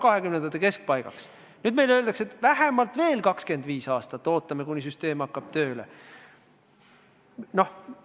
Nüüd öeldakse meile, et ootame veel vähemalt 25 aastat, kuni süsteem tööle hakkab.